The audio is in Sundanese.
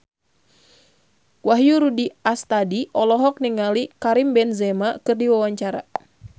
Wahyu Rudi Astadi olohok ningali Karim Benzema keur diwawancara